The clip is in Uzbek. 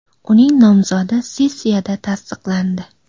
Uning nomzodi sessiyada tasdiqlandi.